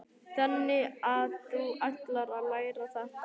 Magnús Hlynur: Þannig að þú ætlar að læra þetta?